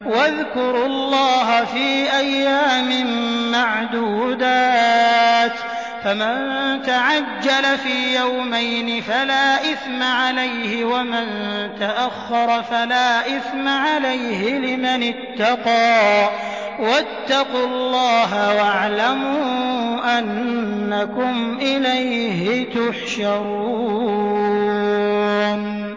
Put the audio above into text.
۞ وَاذْكُرُوا اللَّهَ فِي أَيَّامٍ مَّعْدُودَاتٍ ۚ فَمَن تَعَجَّلَ فِي يَوْمَيْنِ فَلَا إِثْمَ عَلَيْهِ وَمَن تَأَخَّرَ فَلَا إِثْمَ عَلَيْهِ ۚ لِمَنِ اتَّقَىٰ ۗ وَاتَّقُوا اللَّهَ وَاعْلَمُوا أَنَّكُمْ إِلَيْهِ تُحْشَرُونَ